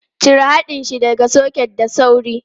Cire haɗin shi daga soket da sauri!